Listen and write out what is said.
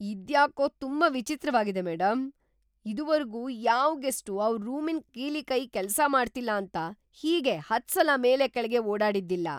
ಇದ್ಯಾಕೋ ತುಂಬಾ ವಿಚಿತ್ರವಾಗಿದೆ ಮೇಡಂ! ಇದುವರ್ಗೂ ಯಾವ್‌ ಗೆಸ್ಟೂ ಅವ್ರ್‌ ರೂಮಿನ್ ಕೀಲಿಕೈ ಕೆಲ್ಸ ಮಾಡ್ತಿಲ್ಲ ಅಂತ ಹೀಗೆ ಹತ್ಸಲ ಮೇಲೆ ಕೆಳ್ಗೆ ಓಡಾಡಿದ್ದಿಲ್ಲ.